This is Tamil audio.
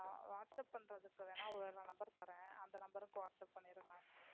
Whatsapp பண்றதுக்கு வேணா வேற Number தரேன். அந்த நம்பர்க்கு Whatsapp பன்னிருங்க.